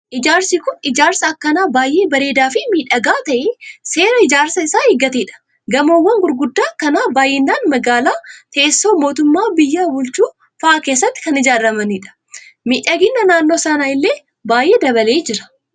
Ijaarsi Kun, ijaarsa akkaan baayyee bareedaa fi miidhagaa ta'e, seera ijaarsaa isaa eeggatedha. Gamoowwan gurguddaa akkanaa baayyinaan magaalaa teessoo mootummaa biyya bulchu fa'aa keessatti kan ijaaramanidha. Miidhagina naannoo sanaa illee baayyee dabalee jira.